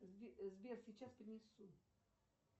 сбер сейчас принесу